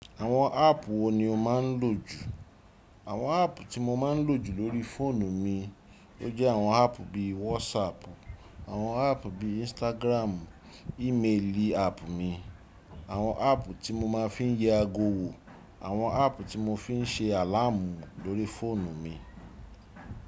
Àwọn áàpù wo ni o máa ń lò jù? Àwọn áàpù tí mo máa ń lò jù lórí fóònù mi, ó jẹ́ àwọn áàpù bí i WhatsApp, àwọn áàpù bí i Instagram, ímeèlì àpù mi, àwọn áàpù tí mo máa ń fi ń yẹ ago wò, àwọn áàpù tí mo fi ń ṣe àláàmù lórí fóònù mi.